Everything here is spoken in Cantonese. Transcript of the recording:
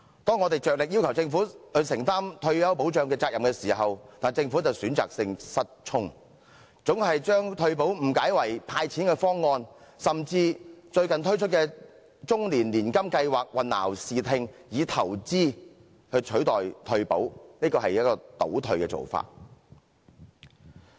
當我們竭力要求政府承擔退休保障責任時，但政府卻選擇性失聰，總把退休保障誤解為"派錢"的方案，甚至以最近推出的終身年金計劃混淆視聽，以投資取代退休保障，這是倒退的做法。